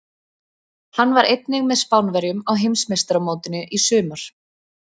Hann var einnig með Spánverjum á Heimsmeistaramótinu í sumar.